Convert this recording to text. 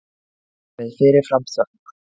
Með fyrir fram þökk.